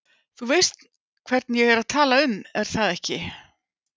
Þú veist hvern ég er að tala um er það ekki?